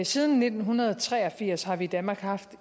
siden nitten tre og firs har vi i danmark haft